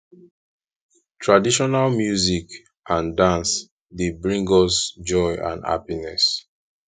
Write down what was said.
traditional music and dance dey bring us joy and happiness